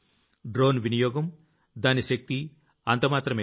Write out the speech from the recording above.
drone వినియోగం దాని శక్తి అంత మాత్రమే కాదు